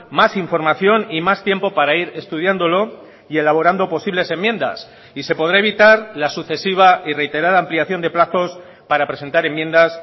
más información y más tiempo para ir estudiándolo y elaborando posibles enmiendas y se podrá evitar la sucesiva y reiterada ampliación de plazos para presentar enmiendas